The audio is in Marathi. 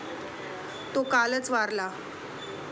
तो कालच वारला.